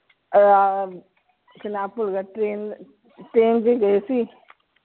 ਆਹ ਨਾਮ ਭੁੱਲ ਗਿਆ train ਚ ਹੀ ਗਏ ਸੀ।